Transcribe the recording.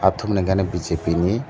tum ni gana bjp ni.